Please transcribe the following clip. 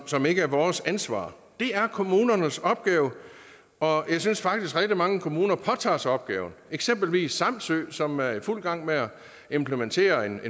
som ikke er vores ansvar det er kommunernes opgave og jeg synes faktisk at rigtig mange kommuner påtager sig opgaven eksempelvis samsø som er i fuld gang med at implementere en